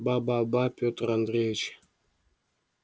ба ба ба петр андреич